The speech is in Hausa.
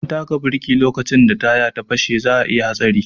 Idan an taka biriki lokacin da taya ya fashe za'a iya hatsari.